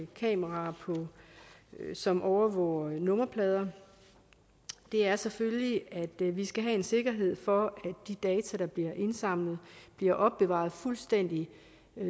kameraer som overvåger nummerplader er selvfølgelig at vi vi skal have en sikkerhed for at de data der bliver indsamlet bliver opbevaret fuldstændig